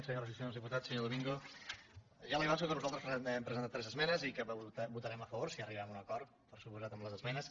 senyores i senyors diputats senyor domingo ja li avanço que nosaltres hem presentat tres esmenes i que votarem a favor si arribem a un acord per descomptat amb les esmenes